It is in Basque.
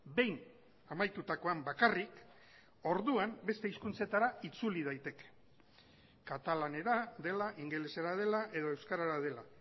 behin amaitutakoan bakarrik orduan beste hizkuntzetara itzuli daiteke katalanera dela ingelesera dela edo euskarara dela